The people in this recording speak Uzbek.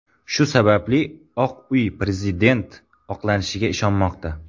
Shu sababli Oq uy prezident oqlanishiga ishonmoqda.